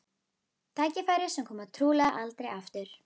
Tækifæri sem komi trúlega aldrei aftur.